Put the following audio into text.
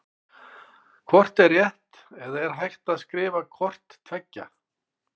Hvort er rétt eða er hægt að skrifa hvort tveggja?